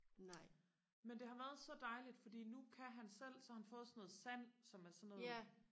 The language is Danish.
nej men det har været så dejligt fordi nu kan han selv så har han fået sådan noget sand som er sådan noget